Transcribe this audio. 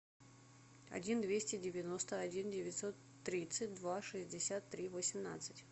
один двести девяносто один девятьсот тридцать два шестьдесят три восемнадцать